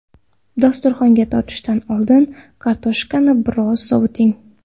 Dasturxonga tortishdan oldin kartoshkani biroz sovuting.